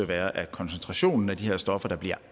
være at koncentrationen af de her stoffer der bliver